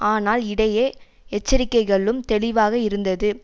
ஆனால் இடையே எச்சரிக்கைகளும் தெளிவாக இருந்தது